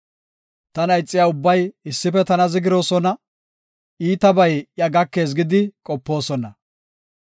Tana ixiya ubbay issife tana zigiroosona; iitabay iya gakees gidi qopoosona.